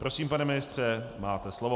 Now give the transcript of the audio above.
Prosím, pane ministře, máte slovo.